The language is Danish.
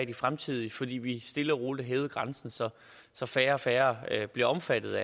de fremtidige fordi vi stille og roligt har hævet grænsen så så færre og færre bliver omfattet